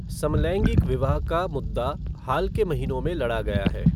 समलैंगिक विवाह का मुद्दा हाल के महीनों में लड़ा गया है।